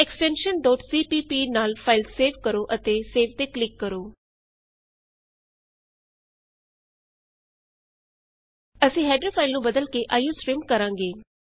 ਹੁਣ extension cpp ਨਾਲ file save ਕਰੋ ਅਤੇ ਸੇਵ ਤੇ ਕਲਿਕ ਕਰੋ ਅਸੀਂ ਹੈਡਰ ਫਾਈਲ ਨੂੰ ਬਦਲ ਕੇ ਆਈਓਸਟਰੀਮ ਕਰਾਂਗੇ